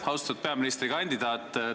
Austatud peaministrikandidaat!